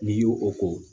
N'i y'o o ko